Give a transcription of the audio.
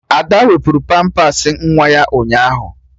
Ada wapụrụ pampas nwa ya ụnyaahụ